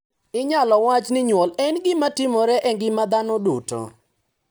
Inyalo wach ni nyuol en gima timore e ngima dhano duto.